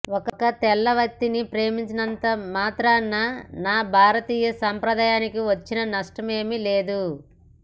ఒక తెల్లవ్యక్తిని ప్రేమించినంత మాత్రానా నా భారతీయ సంప్రదాయానికి వచ్చిన నష్టం ఏంలేదు